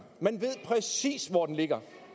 man ved præcis hvor den ligger